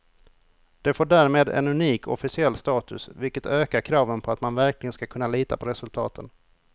Det får därmed en unik officiell status, vilket ökar kraven på att man verkligen ska kunna lita på resultaten.